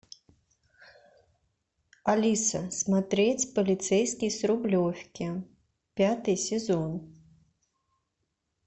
алиса смотреть полицейский с рублевки пятый сезон